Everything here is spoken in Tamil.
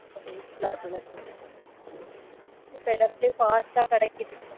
கொஞ்சம் useful ஆ இருக்கும் இல்லை sir இப்ப எல்லா இடைத்திலயும் fast ஆ கிடைக்குது